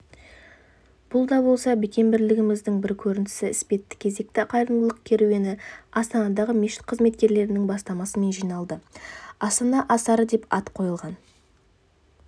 бұл да болса бекем бірлігіміздің бір көрінісі іспетті кезекті қайырымдылық керуені астанадағы мешіт қызметкерлерінің бастамасымен жиналды астана асары деп ат қойылған